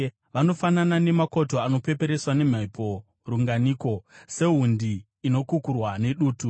Vanofanana namakoto anopeperetswa nemhepo runganiko, sehundi inokukurwa nedutu?